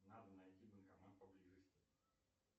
надо найти банкомат поблизости